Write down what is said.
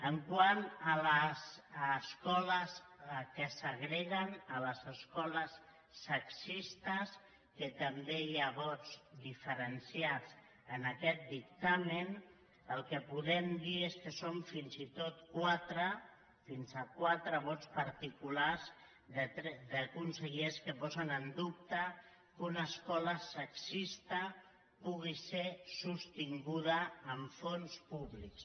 quant a les escoles que segreguen les escoles sexistes que també hi ha vots diferenciats en aquest dictamen el que podem dir és que són fins i tot quatre fins a quatre vots particulars de consellers que posen en dubte que una escola sexista pugui ser sostinguda amb fons públics